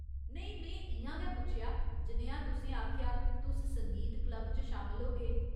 नेईं, में इ'यां गै पुच्छेआ, जनेहा तुसें आखेआ, तुस संगीत क्लब च शामल होगे ?